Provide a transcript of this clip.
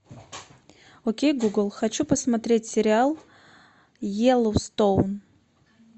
окей гугл хочу посмотреть сериал йеллоустоун